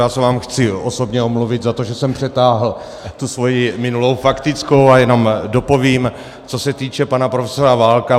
Já se vám chci osobně omluvit za to, že jsem přetáhl tu svoji minulou faktickou, a jenom dopovím, co se týče pana profesora Válka.